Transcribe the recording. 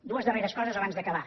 dues darreres coses abans d’acabar